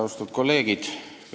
Austatud kolleegid!